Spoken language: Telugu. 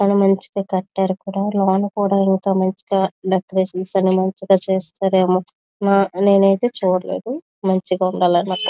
బాగాచల బాగా కట్టారు లోన కూడా మచిగా దెకెరతిఒన్ చేస్తారు ఎమో నేను ఏఇతి ఇక చూడలేదు మచిగా ఉనడలి అని అనుకోతున.